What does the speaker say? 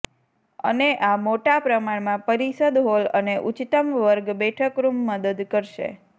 અને આ મોટા પ્રમાણમાં પરિષદ હોલ અને ઉચ્ચતમ વર્ગ બેઠક રૂમ મદદ કરશે